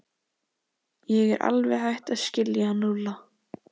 Ég er alveg hætt að skilja hann Lúlla.